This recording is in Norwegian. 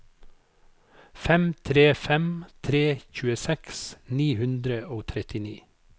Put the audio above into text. fem tre fem tre tjueseks ni hundre og trettini